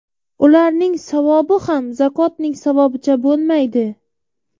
Ularning savobi ham zakotning savobicha bo‘lmaydi.